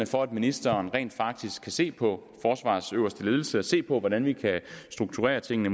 for at ministeren rent faktisk kan se på forsvarets øverste ledelse og se på hvordan vi kan strukturere tingene